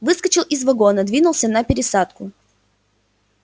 выскочил из вагона двинулся на пересадку